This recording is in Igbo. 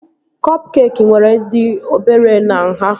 Kọp keekị nwere dị obere na nhá